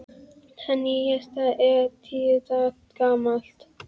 Það nýjasta er tíu daga gamalt.